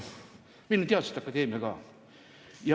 Meil on teaduste akadeemia ka.